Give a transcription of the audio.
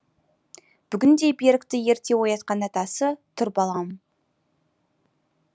бүгін де берікті ерте оятқан атасы тұр балам